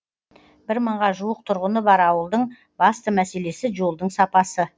бір мыңға жуық тұрғыны бар ауылдың басты мәселесі жолдың сапасы